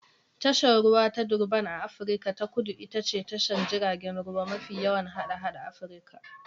Tashar ruwa ta Durban a Afirka ta Kudu ita ce tashar jiragen ruwa mafi yawan hada-hada Afirka